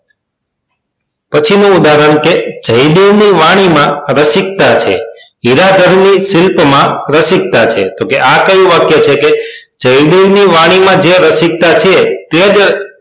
પછીનું ઉદાહરણ કે જયદેવ ની વાણી માં રસિક્તા છે જીરાધર ની શિલ્પ માં રસિક્તા છે તો કે આ કયું વાક્ય છે કે જયદેવ ની વાણી માં જે રસિક્તા છે તે જ